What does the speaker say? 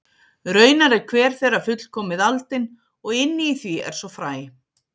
Raunar er hver þeirra fullkomið aldin og inni í því er svo fræ.